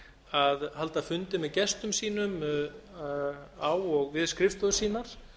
að halda fundi með gestum sínum á og við skrifstofur sínar